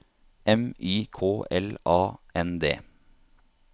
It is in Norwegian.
M Y K L A N D